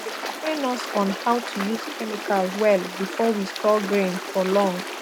dem train us on how to use chemical well before we store grain for long